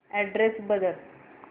address बदल